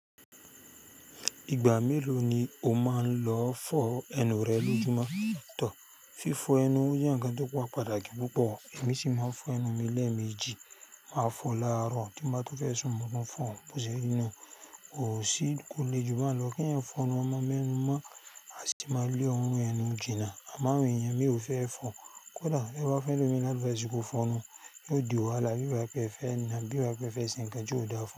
Ìgbà mélòó ni o máa ń lọ fọ ẹnu rẹ lójúmọ́? Fífo ẹnu o je nǹkan tó pá patàkì púpọ̀. Èmi sì máa ń fọ ẹnu mi lẹ́ẹ̀mejì, màá fọ láàárọ̀ tí bá tó fẹ́ sún máa tún fọ, bó ṣe rí nú. Kò sí, kò le jù ba n lọ kí èèyàn fọ ẹnu ọmọ me nu mọ́. A sì máa lè orun ẹnu jìnnà. Àmo awòn èèyàn mi ò fẹ́ ẹ fọ. Kódà ti e bá fun elòmi ni advice kó fọ ẹnu, yóò di wàhálà bí bá pẹ́ e fẹ́ naa, bí bá pẹ́ e fẹ́ ṣe nǹkan tí ò dáa fún.